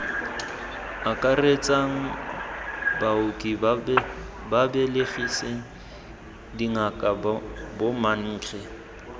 akaretsang baoki babelegisi dingaka bomankge